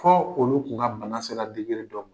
Fɔ olu tun ŋa bana sera dɔ ma.